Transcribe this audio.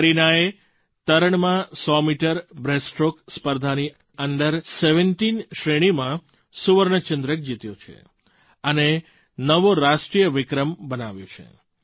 કરીનાએ તરણમાં 100 metre breaststroke સ્પર્ધાની અંડર17 શ્રેણીમાં સુવર્ણચંદ્રક જીત્યો છે અને નવો રાષ્ટ્રીય વિક્રમ બનાવ્યો છે